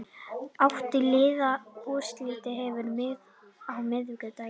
Átta liða úrslitin hefjast á miðvikudag